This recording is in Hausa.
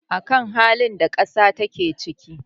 a kan halin da ƙasa take ciki